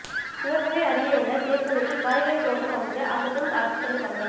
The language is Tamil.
சிவகங்கை அருகேயுள்ள சேத்தூரில் காய்கறி தோட்டம் அமைத்து அசத்தும் அரசு பள்ளி மாணவர்கள்